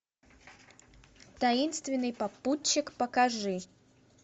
таинственный попутчик покажи